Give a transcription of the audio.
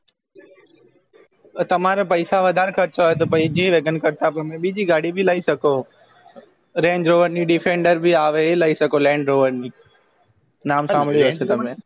તમારે પૈસા વધરે ખર્ચવા હોય તો g wagon કરતાં પણ સારી ગાડી લાયી શક range rover ની defender ભી આવે લાયી શકો land rover ની નામ સાંભળું હોય